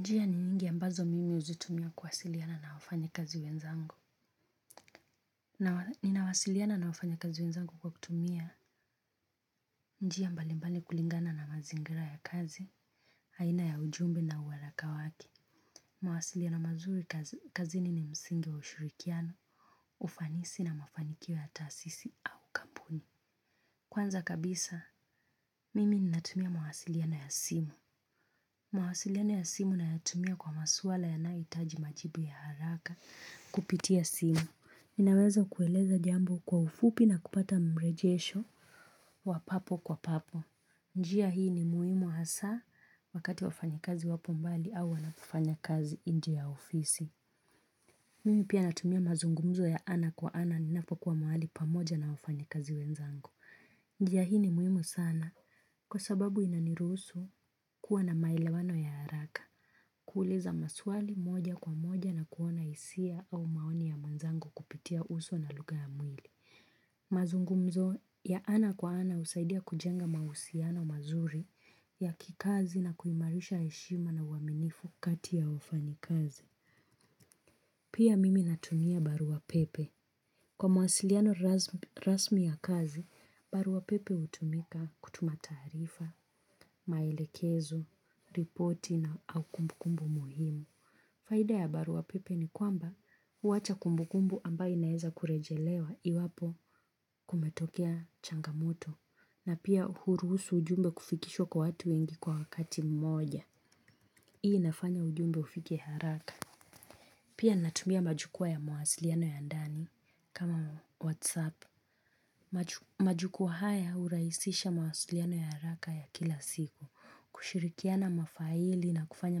Njia ni nyingi ambazo mimi huzitumia kuwasiliana na wafanyi kazi wenzangu. Ninawasiliana na wafanya kazi wenzangu kwa kutumia njia mbalimbali kulingana na mazingira ya kazi, aina ya ujumbe na uharaka wake. Mawasiliano mazuri kazini msingi wa ushirikiano, ufanisi na mafanikio ya taasisi au kampuni. Kwanza kabisa, mimi ninatumia mawasiliano ya simu. Mawasiliano ya simu nayatumia kwa maswala yanayohitaji majibu ya haraka kupitia simu. Ninaweza kueleza jambo kwa ufupi na kupata mrejesho wa papo kwa papo. Njia hii ni muhimu hasa wakati wafanyakazi wapo mbali au wanapofanya kazi nje ya ofisi. Mimi pia natumia mazungumzo ya ana kwa ana ninapo kuwa mahali pamoja na wafanyakazi wenzangu. Njia hii ni muhimu sana kwa sababu inaniruhusu kuwa na maelewano ya haraka. Kuuliza maswali moja kwa moja na kuona hisia au maoni ya mwenzangu kupitia uso na lugha ya mwili. Mazungumzo ya ana kwa ana husaidia kujenga mahusiano mazuri ya kikazi na kuimarisha heshima na uaminifu kati ya wafanyi kazi. Pia mimi natumia barua pepe. Kwa mawasiliano rasmi ya kazi barua pepe hutumika kutuma taarifa maelekezo ripoti au kumbukumbu muhimu. Faida ya barua pepe ni kwamba huacha kumbu kumbu ambayo inaeza kurejelewa iwapo kumetokea changamoto na pia huruhusu ujumbe kufikishwa kwa watu wengi kwa wakati mmoja. Hii inafanya ujumbe ufike haraka. Pia natumia majukwaa ya mawasiliano ya ndani kama whatsapp. Majukwaa haya hurahisisha mawasiliano ya haraka ya kila siku. Kushirikiana mafaili na kufanya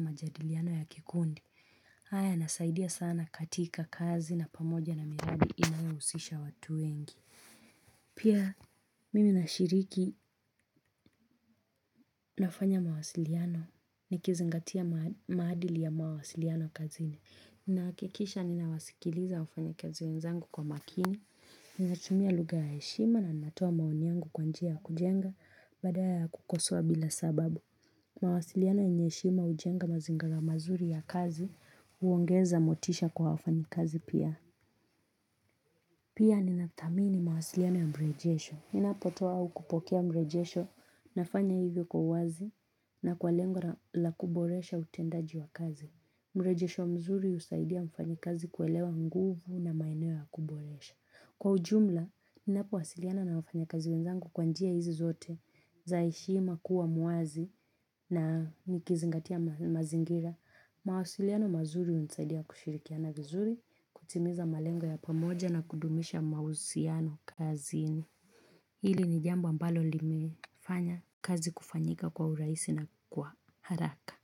majadiliano ya kikundi. Haya yanasaidia sana katika kazi na pamoja na miradi inayohusisha watu wengi. Pia mimi nashiriki nafanya mawasiliano nikizingatia maadili ya mawasiliano kazini. Nahakikisha ninawasikiliza wafanya kazi wenzangu kwa makini. Ninatumia lugha ya heshima na ninatoa maoni yangu kwa njia ya kujenga badala ya kukosoa bila sababu. Mawasiliano yenye heshima hujenga mazingara mazuri ya kazi huongeza motisha kwa wafanyakazi pia. Pia ninathamini mawasiliano ya mrejesho. Ninapotoa au kupokea mrejesho nafanya hivyo kwa uwazi na kwa lengo la kuboresha utendaji wa kazi. Mrejesho mzuri husaidia mfanyi kazi kuelewa nguvu na maeneo ya kuboresha. Kwa ujumla, ninapowasiliana na wafanyi kazi wenzangu kwa njia hizi zote za heshima kuwa muwazi na nikizingatia mazingira. Mawasiliano mazuri hunisaidia kushirikiana vizuri, kutimiza malengo ya pamoja na kudumisha mahusiano kazini. Hili ni jambo ambalo limefanya kazi kufanyika kwa urahisi na kwa haraka.